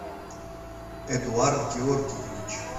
эдуард георгиевич